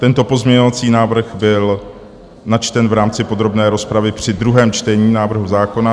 Tento pozměňovací návrh byl načten v rámci podrobné rozpravy při druhém čtení návrhu zákona.